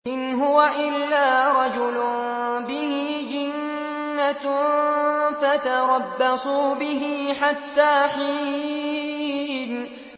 إِنْ هُوَ إِلَّا رَجُلٌ بِهِ جِنَّةٌ فَتَرَبَّصُوا بِهِ حَتَّىٰ حِينٍ